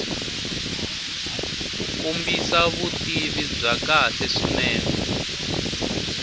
kombisa vutivi bya kahle swinene